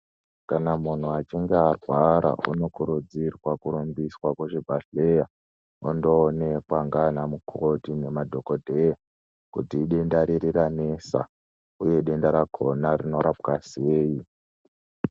Kana muntu achinga arwara unokurudzirwa kurumbiswa kuzvibhadhleya ondoonekwa ngaanamukoti nemadhokodheya kuti idenda riri ranesa uye denda rakhona rinorapwa sei.